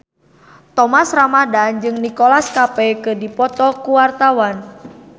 Thomas Ramdhan jeung Nicholas Cafe keur dipoto ku wartawan